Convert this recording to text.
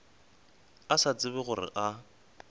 a sa tsebe gore a